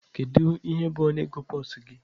Kedu ihe bụ ọnụego pulse gị?